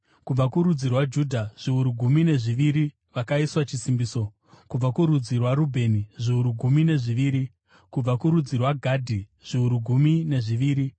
Kubva kurudzi rwaJudha, zviuru gumi nezviviri vakaiswa chisimbiso, kubva kurudzi rwaRubheni, zviuru gumi nezviviri, kubva kurudzi rwaGadhi, zviuru gumi nezviviri,